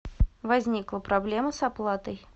возникла проблема с оплатой